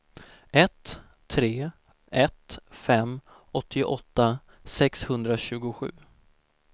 ett tre ett fem åttioåtta sexhundratjugosju